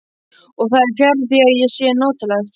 Og það er fjarri því að það sé notalegt.